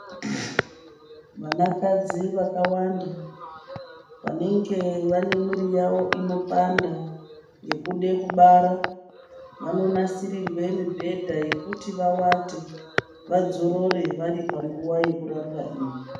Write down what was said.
Vanakadzi vakawanda vanenge vane mwiri yavo inopanda yekude kubara, vanonasirirwe mibhedha yekuti vawate, vadzorore vari panguwa yekurapwa iyi.